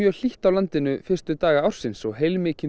hlýtt á landinu fyrstu daga ársins og heilmikinn